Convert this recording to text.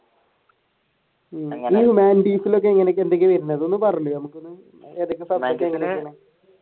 ഹ്യൂമാനിറ്റീസിൽ എങ്ങനെയൊക്കെ എന്തൊക്കെയാ വരുന്നത് ഒന്ന് പറയോ?